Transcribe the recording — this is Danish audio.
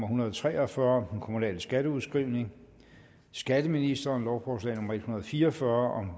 hundrede og tre og fyrre skatteministeren skatteministeren lovforslag nummer l en hundrede og fire og fyrre